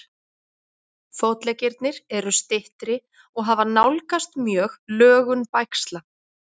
Fótleggirnir eru styttri og hafa nálgast mjög lögun bægsla.